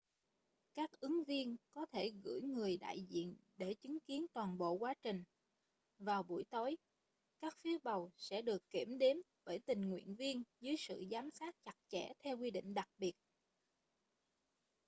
các ứng viên có thể gửi người đại diện để chứng kiến toàn bộ quá trình vào buổi tối các phiếu bầu sẽ được kiểm đếm bởi tình nguyện viên dưới sự giám sát chặt chẽ theo quy trình đặc biệt